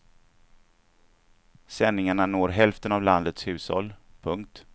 Sändningarna når hälften av landets hushåll. punkt